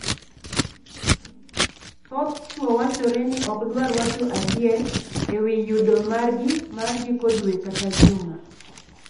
Thoth chwo wachore ni ok dwar wacho adier e wii yudo margi mar giko dwe kata juma.